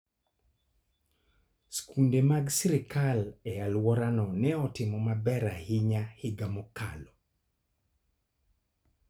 Skunde mag sirkal e alworawa ne otimo maber ahinya higa mokalo.